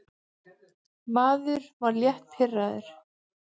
Maður var létt pirraður.